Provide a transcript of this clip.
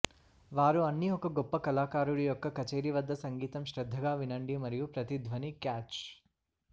వారు అన్ని ఒక గొప్ప కళాకారుడు యొక్క కచేరీ వద్ద సంగీతం శ్రద్ధగా వినండి మరియు ప్రతి ధ్వని క్యాచ్